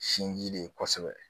Sinji de ye kosɛbɛ